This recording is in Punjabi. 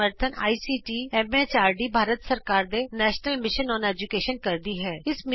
ਇਸ ਦਾ ਸਮਰੱਥਨ ਆਈਸੀਟੀ ਐਮ ਐਚਆਰਡੀ ਭਾਰਤ ਸਰਕਾਰ ਦੇ ਨੈਸ਼ਨਲ ਮਿਸ਼ਨ ਅੋਨ ਏਜੂਕੈਸ਼ਨ ਕਰਦੀ ਹੈ